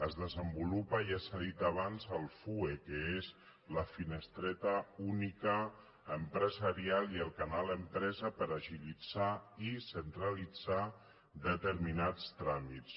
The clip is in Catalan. es desenvolupa ja s’ha dit abans la fue que és la finestreta única empresarial i el canal empresa per agilitzar i centralitzar determinats tràmits